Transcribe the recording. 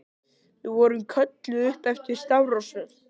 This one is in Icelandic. Við vorum kölluð upp eftir stafrófsröð.